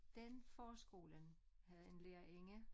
Den forskolen havde en lærerinde